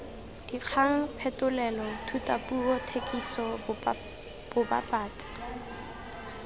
dikgang phetolelo thutapuo thekiso bobapatsi